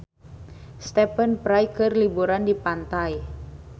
Stephen Fry keur liburan di pantai